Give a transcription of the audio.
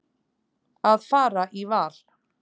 Að fara í val.